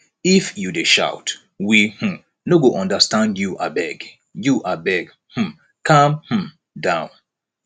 if you dey shout we um no go understand you abeg you abeg um calm um down